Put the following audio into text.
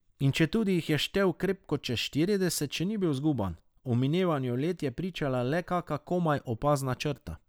In četudi jih je štel krepko čez štirideset, še ni bil zguban, o minevanju let je pričala le kaka komaj opazna črta.